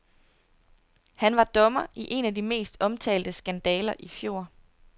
Han var dommer i en af de mest omtalte skandaler i fjor.